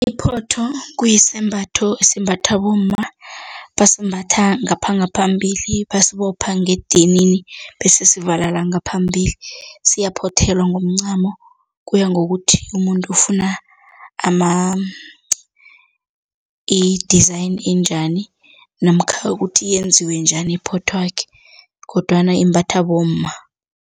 Iphotho kuyi sembatho esimbathwa bomma basimbatha ngapha ngaphambili, basibopha ngedinini bese sivala ngaphambili. Siyaphothelwa ngomncamo, kuya ngokuthi umuntu ufuna i-design enjani namkha ukuthi yenziwe njani iphothwakhe kodwana imbatha bomma.